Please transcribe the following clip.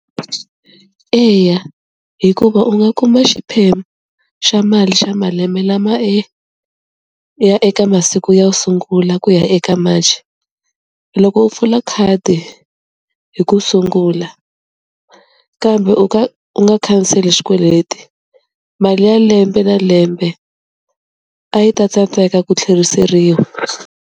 Eya hikuva u nga kuma xiphemu xa mali xa malembe lama e ya eka masiku yo sungula ku ya eka March, loko u pfula khadi hi ku sungula kambe u kha u nga khanseli xikweleti mali ya lembe na lembe a yi ta tsandzeka ku tlheriseriwa.